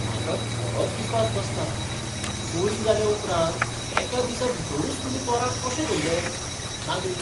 म्हाका खरोच विस्वास बसना. चोरी जाल्या उपरांत एका दिसा भितरूच तुमी चोरांक कशें धरलें? नागरीक